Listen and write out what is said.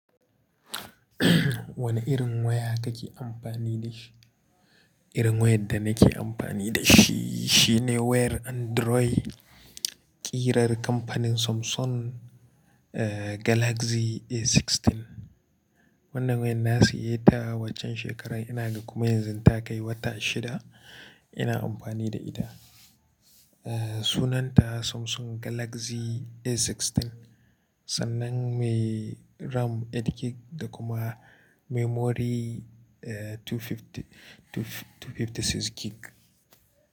Wane irin waya kake amfani da shi? Irin wayar da nake amfani da shi, shine wayar Android, ƙirar kamfanin Samsung, eh, Galaxy A16. Wannan wayan na siya ta a waccen shekarar yana ga kuma yanzu ta kai wata shida ina amfani da ita. Eh, sunanta Samsung Galaxy A16 sannan mai RAM eight GB da kuma memory, eh, two hundred and fifty-six GB.